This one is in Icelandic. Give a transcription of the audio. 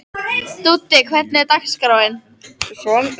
Dúddi, hvernig er dagskráin?